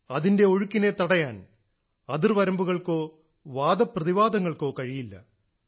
അതിന്റെ ഒഴുക്കിനെ തടയാൻ അതിർ വരമ്പുകൾക്കോ വാദപ്രതിവാദങ്ങൾക്കോ കഴിയില്ല